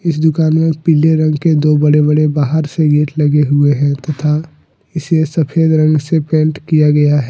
इस दुकान में पीले रंग के दो बड़े बड़े बाहर से गेट लगे हुए हैं तथा इसे सफेद रंग से पेंट किया गया है।